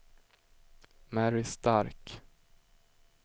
Mary Stark